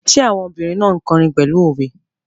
Ṣé àwọn obìrin náà n kọrin pẹ̀lú òwe?